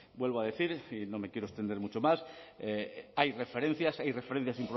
vuelvo a decir y no me quiero extender mucho más hay referencias hay referencias